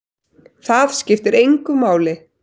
Það skiptir engu máli!